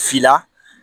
Fila